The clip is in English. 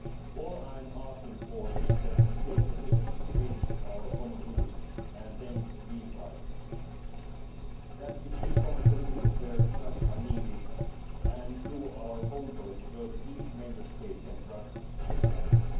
All I am asking is that we take decisions on the basis of our common rules and then live by them, and that we seek common solutions where such are needed and do our homework so that each Member State can trust the others.